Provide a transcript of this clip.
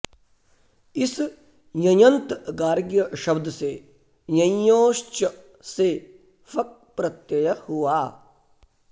इस यञन्त गार्ग्य शब्द से यञिञोश्च से फक् प्रत्यय हुआ